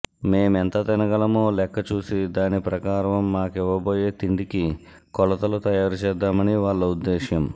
మేమెంత తినగలమో లెక్క చూసి దాని ప్రకారం మాకివ్వబోయే తిండికి కొలతలు తయారుచేద్దామని వాళ్ళ ఉద్దేశ్యం